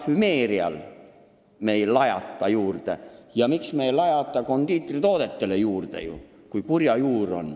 Parfümeeriatoodetele me ei lajata hinda juurde ja kondiitritoodetele ka mitte.